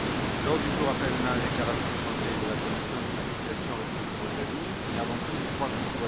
L'ordre du jour appelle la déclaration du Conseil et de la Commission sur la situation en République de Moldavie mais, avant tout, je crois que M.